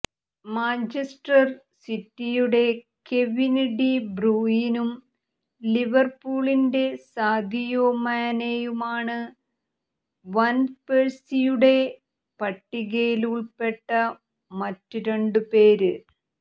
Manchester സിറ്റിയുടെ Kevin De ബ്രൂയിനും ലിവര്പൂളിന്റെ സാദിയോ മാനെയുമാണ് വാന്പേഴ്സിയുടെ പട്ടികയില് ഉള്പ്പെട്ട മറ്റ് രണ്ടുപേര്